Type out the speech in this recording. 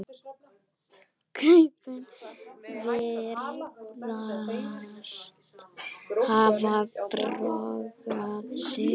Kaupin virðast hafa borgað sig.